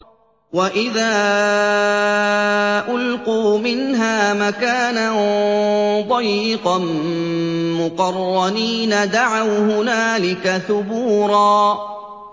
وَإِذَا أُلْقُوا مِنْهَا مَكَانًا ضَيِّقًا مُّقَرَّنِينَ دَعَوْا هُنَالِكَ ثُبُورًا